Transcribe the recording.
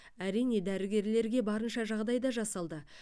әрине дәрігерлерге барынша жағдай да жасалды